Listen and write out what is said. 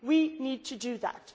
we need to do